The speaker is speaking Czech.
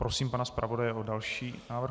Prosím pana zpravodaje o další návrh.